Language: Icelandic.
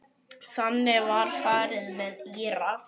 Þannig var farið með Íra.